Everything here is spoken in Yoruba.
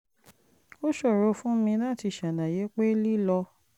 ó ṣòro fún mi láti ṣàlàyé pé lílọ